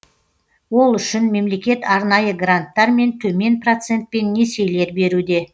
ол үшін мемлекет арнайы гранттар мен төмен процентпен несиелер беруде